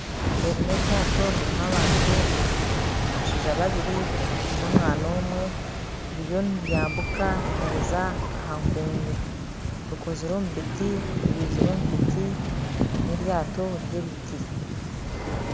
Eri n'eryaato ririmu abantu abashaija babiiri n'omwana omwe ririyo niryambuuka niriza aha nkuungu ribaizirwe omu biti n'eryaato ry'ebiti